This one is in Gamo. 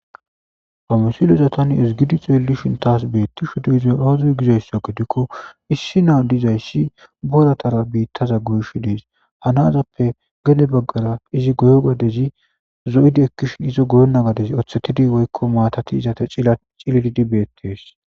famosuloza tani ezgidi xeeli shin taas beetti shudo izo rozoy gizaysa gedikko issi naa dizayssi boratara biittaza goysh dees hanazappe gede baggara izi goyo gadezi zo7idi ekkishin izo goyona gades othetidi woykko maatati izate ila cililidi beettees